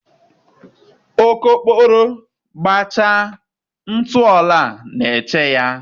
Okokporo gbachaa, ntụ ọla na-eche ya